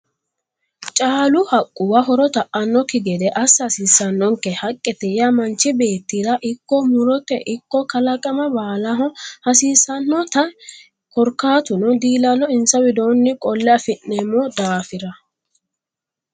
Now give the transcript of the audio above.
Caalu haqquwa horo ta"anokki ged assa hasiisanonke haqqete yaa manchi beettira ikko murote ikko kalaqama baallaho hasiisanote korkaatuno diilalo insa widooni qolle affi'neemmo daafira.